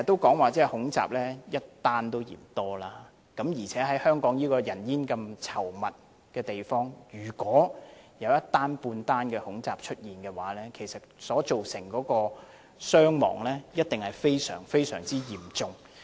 經常說恐怖襲擊的個案一宗也嫌多，而且在香港這個人煙稠密的地方，如果出現一宗恐怖襲擊，其實所造成的傷亡一定會非常、非常嚴重。